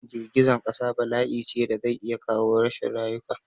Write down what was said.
Girgizan ƙasa bala'ice da zai iya kawo rashin rayuka